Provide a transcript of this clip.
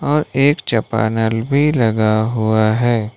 और एक चपानल भी लगा हुआ है।